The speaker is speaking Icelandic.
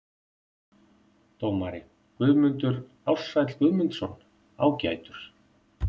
Dómari: Guðmundur Ársæll Guðmundsson- ágætur.